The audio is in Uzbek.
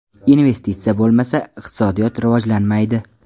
Investitsiya bo‘lmasa, iqtisodiyot rivojlanmaydi.